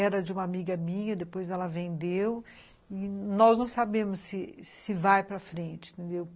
Era de uma amiga minha, depois ela vendeu, e nós não sabemos se vai para frente, entendeu?